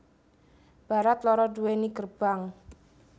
Barat loro duweni gerbang